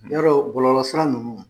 Yɔlɔ bɔlɔlɔ sira ninnu